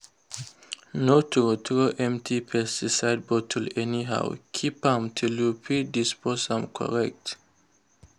no throw throw empty pesticide bottle anyhow—keep am till you fit dispose am correct.